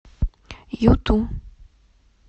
юту